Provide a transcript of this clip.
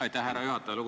Aitäh, härra juhataja!